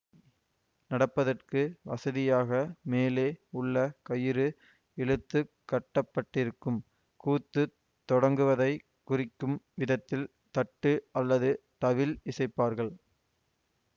நடப்பதற்கு வசதியாக மேலே உள்ள கயிறு இழுத்து கட்டப்பட்டிருக்கும் கூத்துத் தொடங்குவதைக் குறிக்கும் விதத்தில் தட்டு அல்லது தவில் இசைப்பார்கள்